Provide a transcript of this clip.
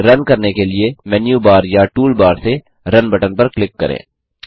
code run करने के लिए मेनू बार या टूल बार से रुन बटन पर क्लिक करें